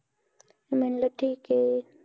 म्हणलं ठीके.